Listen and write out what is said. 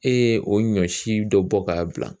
E ye o ɲɔ si dɔ bɔ k'a bila